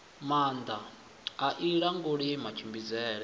maanda a i languli matshimbidzele